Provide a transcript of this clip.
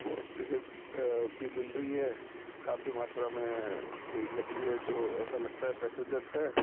और टिकट अ भी मिल रही है काफी मात्रा में भीड़ लगी है जो ऐसा लगता है पैसेंजर्स है।